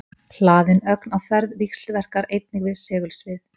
Hlaðin ögn á ferð víxlverkar einnig við segulsvið.